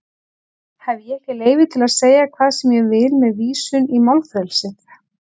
Hef ég ekki leyfi til að segja hvað sem ég vil með vísun í málfrelsið?